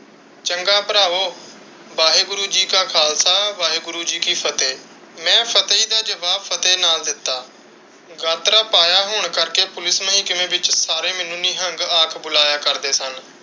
ਚੰਗਾ ਭਰਾਵੋ! ਵਾਹਿਗੁਰੂ ਜੀ ਦਾ ਖਾਲਸਾ ਵਾਹਿਗੁਰੂ ਜੀ ਦੀ ਫਤਿਹ। ਮੈਂ ਫਤਿਹ ਦਾ ਜਵਾਬ ਫਤਿਹ ਨਾਲ ਦਿੱਤਾ। ਗਾਤਰਾ ਪਾਇਆ ਹੋਣ ਕਰ ਕੇ ਪੁਲਿਸ ਮਹਿਕਮੇ ਵਿੱਚ ਸਾਰੇ ਮੈਨੂੰ ਨਿਹੰਗ ਆਖਿ ਬੁਲਾਇਆ ਕਰਦੇ ਸਨ।